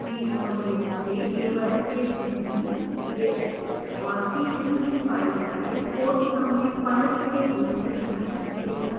default रूप से केवल jpg gif और png file types course summary files के रूप में अनुमति देता है